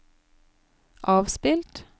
avspilt